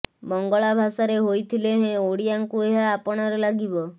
ବଙ୍ଗଳା ଭାଷାରେ ହୋଇଥିଲେ ହେଁ ଓଡ଼ିଆଙ୍କୁ ଏହା ଆପଣାର ଲାଗିବ